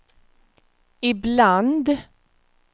ibland